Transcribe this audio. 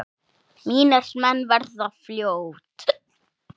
Mínir menn verða fljót